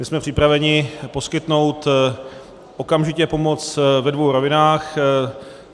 My jsme připraveni poskytnout okamžitě pomoc ve dvou rovinách.